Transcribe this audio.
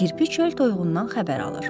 Kirpi çöl toyuğundan xəbər alır.